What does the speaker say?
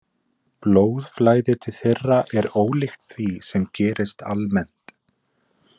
Blóðflæði til þeirra er ólíkt því sem gerist almennt.